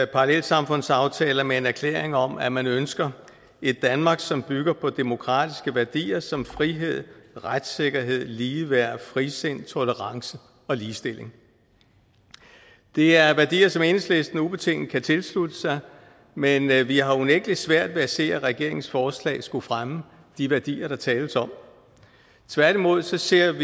parallelsamfundsaftaler med en erklæring om at man ønsker et danmark som bygger på demokratiske værdier som frihed retssikkerhed ligeværd frisind tolerance og ligestilling det er værdier som enhedslisten ubetinget kan tilslutte sig men men vi har unægtelig svært ved at se at regeringens forslag skulle fremme de værdier der tales om tværtimod ser vi